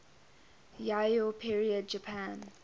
yayoi period japan